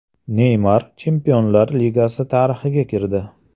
Neymar Chempionlar Ligasi tarixiga kirdi.